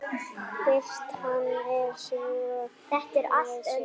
Birtan er söm við sig.